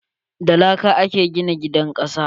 Da laka a ke gina gidan kasa.